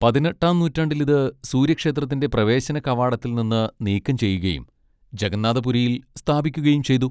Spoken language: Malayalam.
പതിനെട്ടാം നൂറ്റാണ്ടിൽ ഇത് സൂര്യക്ഷേത്രത്തിന്റെ പ്രവേശന കവാടത്തിൽ നിന്ന് നീക്കം ചെയ്യുകയും ജഗന്നാഥ പുരിയിൽ സ്ഥാപിക്കുകയും ചെയ്തു.